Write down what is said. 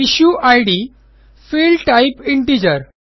issue ID field type integer